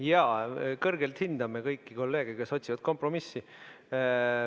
Jaa, me kõrgelt hindame kõiki kolleege, kes otsivad kompromissi.